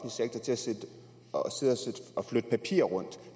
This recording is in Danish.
sektor til at sidde og og flytte papirer rundt